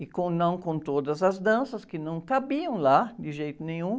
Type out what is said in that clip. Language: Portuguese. E com, não com todas as danças que não cabiam lá, de jeito nenhum.